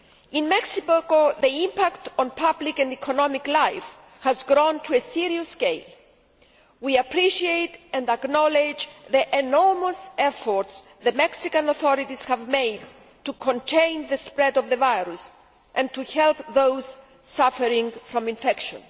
In Mexico the impact on public and economic life has grown to a serious scale. We appreciate and acknowledge the enormous efforts the Mexican authorities have made to contain the spread of the virus and to help those suffering from infection.